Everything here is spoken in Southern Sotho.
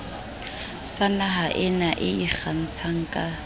sa nahaena e ikgantshang ka